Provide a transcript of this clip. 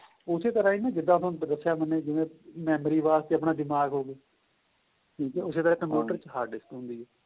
ਉਸੇ ਤਰ੍ਹਾਂ ਹੀ ਜਿੱਦਾ ਮੈਂ ਦੱਸਿਆ ਮੈਨੇ ਜਿਵੇਂ memory ਵਾਸਤੇ ਦਿਮਾਗ਼ ਹੋ ਗਿਆ ਉਸੇ ਤਰ੍ਹਾਂ computer hard disk ਹੁੰਦੀ ਏ